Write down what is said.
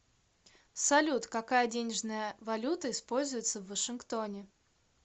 салют какая денежная валюта используется в вашингтоне